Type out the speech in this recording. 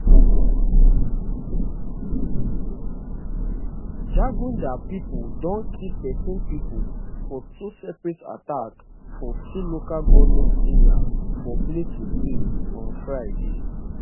jagunda pipo don kill thirteen pipo for two separate attacks for two local goment area for plateau state on friday